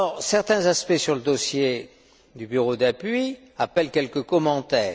Certains aspects sur le dossier du bureau d'appui appellent quelques commentaires.